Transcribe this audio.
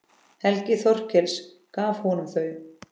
Helgi Þorkels gaf honum þau.